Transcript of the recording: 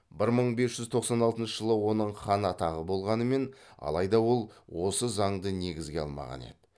бір мың бес жүз тоқсан алтыншы жылы оның хан атағы болғанымен алайда ол осы заңды негізге алмаған еді